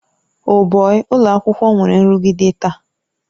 Oh bọi! ụlọ akwụkwọ nwere nrụgide taa.